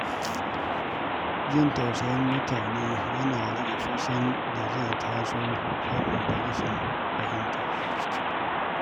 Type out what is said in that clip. Jin tausayin mutane yana rage fushin da zai iya tasowa saboda rashin fahimta.